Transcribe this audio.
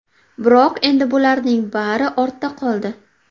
Biroq endi bularning bari ortda qoldi.